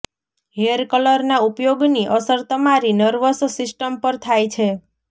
hair કલરના ઉપયોગની અસર તમારી નર્વસ સિસ્ટમ પર થાય છે